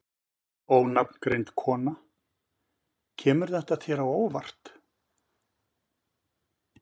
Ónafngreind kona: Kemur þetta þér á óvart?